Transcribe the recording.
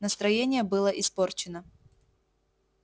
настроение было испорчено